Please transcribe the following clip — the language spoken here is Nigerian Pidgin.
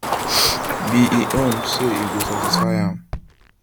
be im own say e go satisfy am